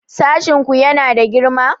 Sashin ku yana da girma?